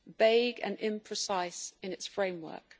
vague and imprecise in its framework.